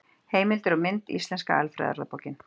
Heimildir og mynd: Íslenska alfræðiorðabókin.